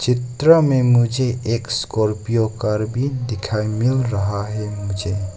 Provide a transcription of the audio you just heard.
चित्रों में मुझे एक स्कॉर्पियो कार भी दिखाई मिल रहा है मुझे।